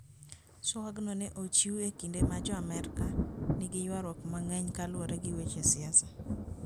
Twagno ne ochiw e kinde ma Jo - Amerka nigi ywaruok mang'eny kaluwore gi weche siasa.